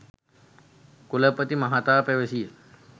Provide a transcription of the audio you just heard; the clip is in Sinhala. කුලපති මහතා පැවසීය